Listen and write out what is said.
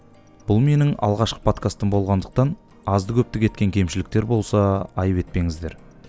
бұл менің алғашқы подкастым болғандықтан азды көпті кеткен кемшіліктер болса айып етпеңіздер